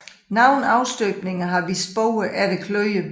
Nogle afstøbninger har vist spor efter kløer